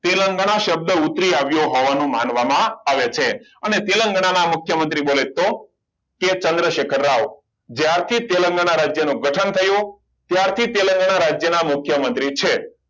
તેલંગાના શબ્દ ઉતરી આવ્યો હોવાનું માનવામાં આવે છે અને તેલંગાના મુખ્યમંત્રી બોલે તો એ ચંદ્રશેખર રાવ ત્યારથી તેલંગાના રાજ્યનું ગઠન થયું ત્યારથી તેલંગાના રાજ્યના મુખ્યમંત્રી છે